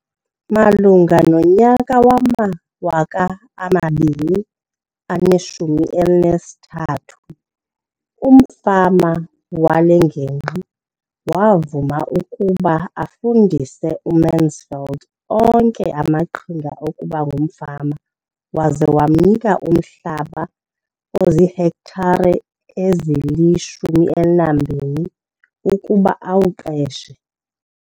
Malunga nonyaka wama-2013, umfama wale ngingqi wavuma ukuba afundise uMansfield onke amaqhinga okuba ngumfama waza wamnika umhlaba ozihektare ezili-12 ukuba awuqeshe.